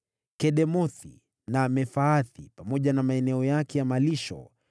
Kedemothi na Mefaathi pamoja na maeneo yake ya malisho.